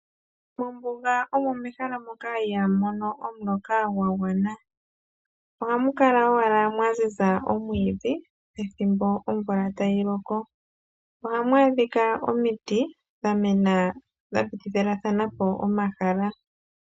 Mombuga omo mehala moka ihaa mu mono omuloka gwa gwana. Ohamu kala owala mwa ziza omwiidhi ethimbo omvula tayi loko. Ohamu adhika omiti dha mena dha pitilathana po omahala.